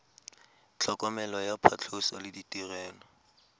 tlhokomelo ya phatlhoso le ditirelo